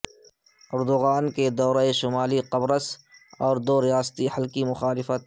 Erdogan کے دورہ شمالی قبرص اور دو ریاستی حل کی مخالفت